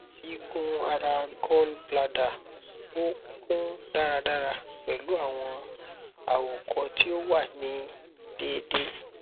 igun ara gall bladder o kun daradara pẹlu awọn àwòkọ ti o wa ni deede